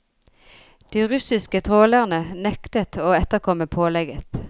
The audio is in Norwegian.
De russiske trålerne nektet å etterkomme pålegget.